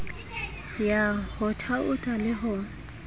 ya ho thaotha le ho